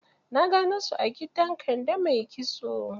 Na gano su a gidan Kande mai kitso.